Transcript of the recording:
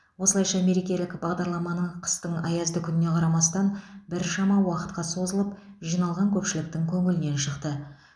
осылайша мерекелік бағдарламаны қыстың аязды күніне қарамастан біршама уақытқа созылып жиналған көпшіліктің көңілінен шықты